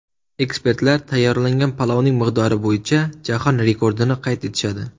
Ekspertlar tayyorlangan palovning miqdori bo‘yicha jahon rekordini qayd etishadi.